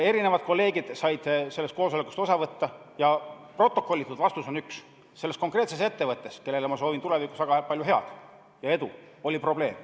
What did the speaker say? Paljud kolleegid said sellest koosolekust osa võtta ja protokollitud järeldus on üks: selles konkreetses ettevõttes, kellele ma soovin tulevikus väga palju edu, oli probleem.